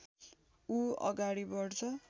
ऊ अगाडि बढ्छ